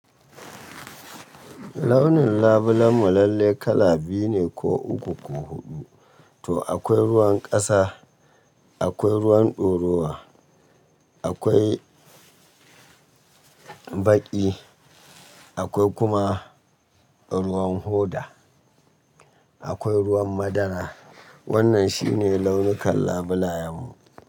Launin labulen mu lalle kala biyu ne ko uku ko huɗu, to akwai ruwan ƙasa, akwai ruwan ɗoruwa, akwai baƙi, akwai kuma ruwan hoda, akwai ruwan madara. Wannan shine launukan labulayen mu.